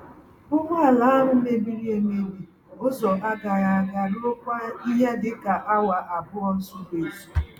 Ụgbọ ala ahụ mebiri emebi ụzọ-agaghị-aga ruokwa ihe dịka awa abụọ zuru-ezú.